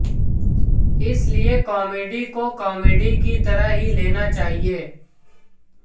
इसलिये कॉमेडी को कॉमेडी की तरह ही लेना चाहिए